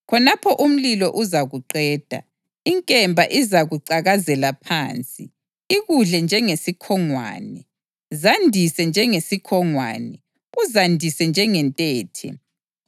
Khonapho umlilo uzakuqeda; inkemba izakucakazela phansi, ikudle njengesikhongwane. Zandise njengesikhongwane, uzandise njengentethe.